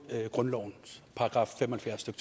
grundlovens § fem